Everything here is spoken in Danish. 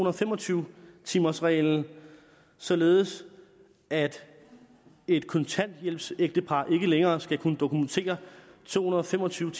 og fem og tyve timers reglen således at et kontanthjælpsægtepar ikke længere skal kunne dokumentere to hundrede og fem og tyve